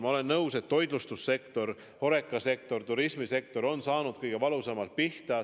Ma olen nõus, et toitlustussektor, HoReCa sektor, turismisektor on saanud kõige valusamalt pihta.